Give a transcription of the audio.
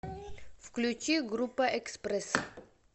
включи группа экспресс